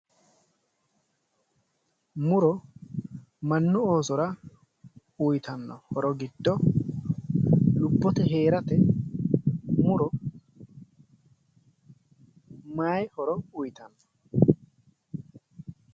Muro mannu Oosora uytanno horo giddo lubbote hee'rate muro may horo uytanno?